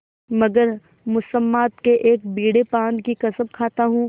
मगर मुसम्मात के एक बीड़े पान की कसम खाता हूँ